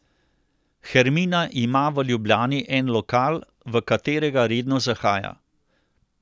Hermina ima v Ljubljani en lokal, v katerega redno zahaja.